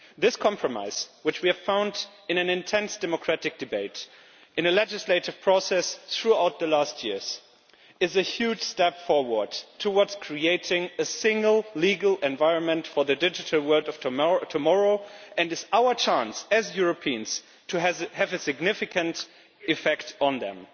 This compromise, which we have found in an intense democratic debate in a legislative process throughout recent years, is a huge step forward towards creating a single legal environment for the digital world of tomorrow, and this is our chance as Europeans to have a significant effect on it.